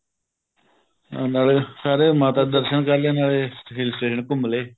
ਨਾਲੇ ਸਾਰਿਆ ਨੇ ਮਾਤਾ ਦੇ ਦਰਸ਼ਨ ਕਰ ਲਏ ਨਾਲੇ hill station ਘੁੱਮ ਲਏ